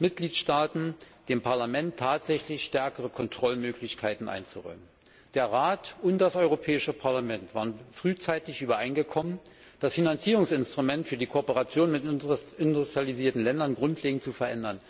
Mitgliedstaaten, dem Parlament tatsächlich stärkere Kontrollmöglichkeiten einzuräumen. Der Rat und das Europäische Parlament waren frühzeitig übereingekommen, das Finanzierungsinstrument für die Zusammenarbeit mit industrialisierten Ländern grundlegend zu verändern.